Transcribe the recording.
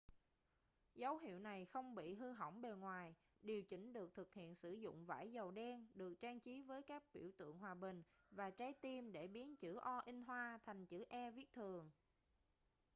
dấu hiệu này không bị hư hỏng bề ngoài điều chỉnh được thực hiện sử dụng vải dầu đen được trang trí với các biểu tượng hòa bình và trái tim để biến chữ o thành chữ e viết thường